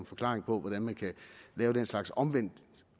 forklaring på hvordan man kan lave den slags omvendt